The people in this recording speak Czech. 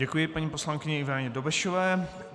Děkuji paní poslankyni Ivaně Dobešové.